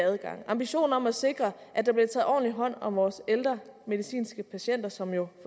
adgang ambitionen om at sikre at der bliver taget ordentligt hånd om vores ældre medicinske patienter som jo